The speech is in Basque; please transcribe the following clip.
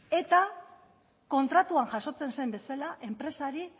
eta kontratuan jasotzen zen bezala enpresari